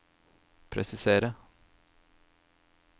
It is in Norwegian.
presiserer